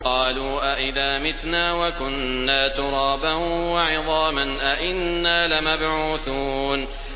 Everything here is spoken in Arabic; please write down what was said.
قَالُوا أَإِذَا مِتْنَا وَكُنَّا تُرَابًا وَعِظَامًا أَإِنَّا لَمَبْعُوثُونَ